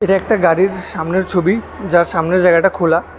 এখানে একটা গাড়ির সামনের ছবি যার সামনের জায়গাটা খোলা।